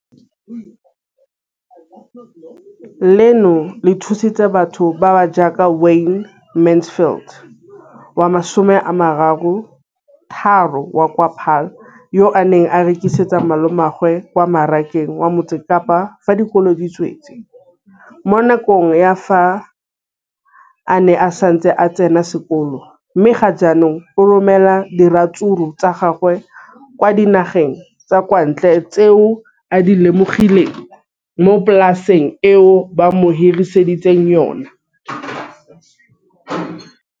leno le thusitse batho ba ba jaaka Wayne Mansfield 33 wa kwa Paarl, yo a neng a rekisetsa malomagwe kwa Marakeng wa Motsekapa fa dikolo di tswaletse, mo nakong ya fa a ne a santse a tsena sekolo, mme ga jaanong o romela diratsuru tsa gagwe kwa dinageng tsa kwa ntle tseo a di lemileng mo polaseng eo ba mo hiriseditseng yona.